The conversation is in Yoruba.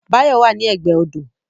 Báyọ̀ wà ní ẹgbẹ́ ọ̀dọ́